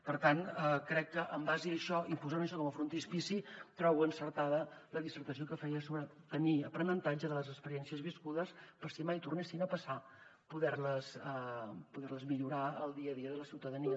per tant en base a això i posant això com a frontispici trobo encertada la dissertació que feia sobre tenir aprenentatge de les experiències viscudes per si mai tornessin a passar poder les millorar en el dia a dia de la ciutadania